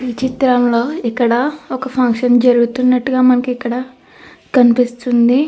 ఈ చిత్రం లో ఇక్కడ ఒక ఫంక్షన్ జరుగుతున్నట్లు కూడా మనకి ఇక్కడ కనిపిస్తుంది.